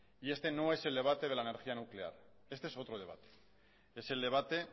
y este no es el debate de la energía nuclear este es otro debate es el debate